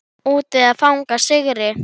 Úti að fagna sigri.